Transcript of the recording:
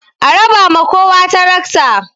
A raba ma kowa tarakta!